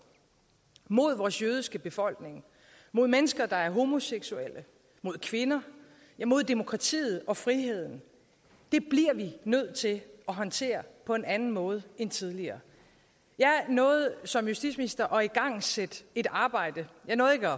mod vores jødiske befolkning mod mennesker der er homoseksuelle mod kvinder mod demokratiet og friheden bliver vi nødt til at håndtere på en anden måde end tidligere jeg nåede som justitsminister at igangsætte et arbejde jeg nåede ikke